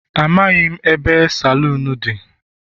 Amaghị m ebe saloon dị.